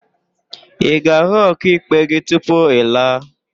Ị ga-ahụ ọkaikpe gị tupu ị laa?